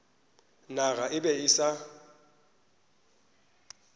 naga e be e sa